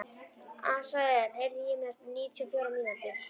Asael, heyrðu í mér eftir níutíu og fjórar mínútur.